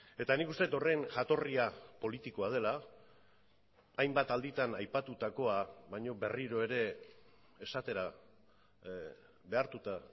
eta nik uste dut horren jatorria politikoa dela hainbat alditan aipatutakoa baina berriro ere esatera behartuta